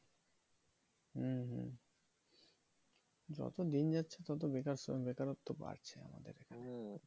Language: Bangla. হম হম যত দিন যাচ্ছে তত বেকার বেকারত্ব বাড়ছে আমাদের এখানে